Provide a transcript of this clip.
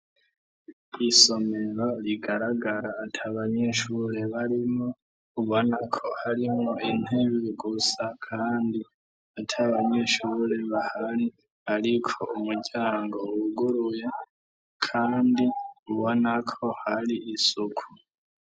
Isomero rigaragara atabanyeshure barimo ubonako harimwo intebe gusa kandi ataabanyeshure bahari ariko umuryango w.uguruye kandi ubonako hari isuku.